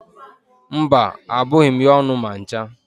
Mba, abụghị m ya ọnụ ma ncha.